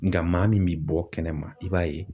Nga maa min bi bɔ kɛnɛma i b'a ye